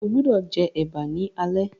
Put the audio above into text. o gbódò jé eba ní alé!